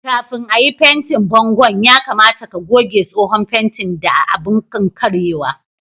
Kafin à yi fentin bongon' ,ya kamata ka goge tsohon fentin da abun kankarewa.